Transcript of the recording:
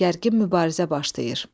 Gərgin mübarizə başlayır.